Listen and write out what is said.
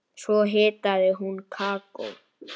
Svo hitaði hún kakó.